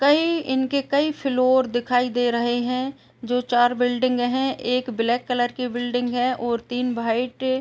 कई इनके कई फ्लोर दिखाई दे रहे हैं। जो चार बिल्डिंग हैं। एक ब्लैक कलर की बिल्डिंग है और तीन भाइट --